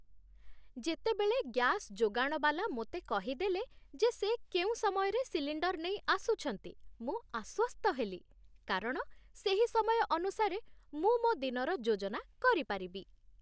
ଯେତେବେଳେ ଗ୍ୟାସ୍ ଯୋଗାଣବାଲା ମୋତେ କହିଦେଲେ ଯେ ସେ କେଉଁ ସମୟରେ ସିଲିଣ୍ଡର୍ ନେଇ ଆସୁଛନ୍ତି, ମୁଁ ଆଶ୍ୱସ୍ତ ହେଲି, କାରଣ ସେହି ସମୟ ଅନୁସାରେ ମୁଁ ମୋ ଦିନର ଯୋଜନା କରିପାରିବି।